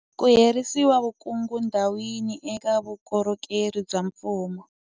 Ku herisa vukungundwani eka vukorhokeri bya mfumo